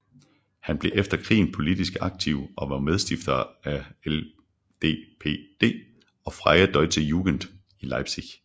Han blev efter krigen politisk aktiv og var medstifter af LDPD og Freie Deutsche Jugend i Leipzig